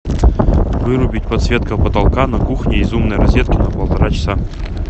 вырубить подсветка потолка на кухне из умной розетки на полтора часа